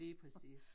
Lige præcis